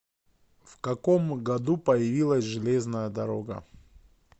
в каком году появилась железная дорога